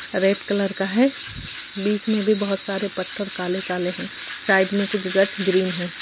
Red colour का है बीच में भी बहुत सारे पत्थर काले-काले है साइड में कुछ गाछ ग्रीन है।